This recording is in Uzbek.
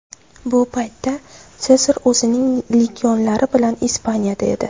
Bu paytda Sezar o‘zining legionlari bilan Ispaniyada edi.